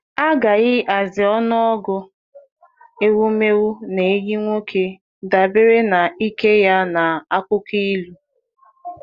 A ghaghị hazie ọnụọgụ ewumewụ na ehi nwoke dabere na ike ya na akụkọ ịlụ.